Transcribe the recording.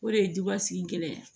O de ye dubasigi gɛlɛya ye